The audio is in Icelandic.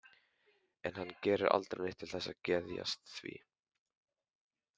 En hann gerir aldrei neitt til þess að geðjast því.